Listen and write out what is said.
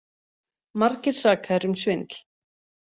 Margir sakaðir um svindl